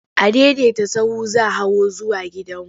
Adaidaita sahu za hawo zuwa gidanmu.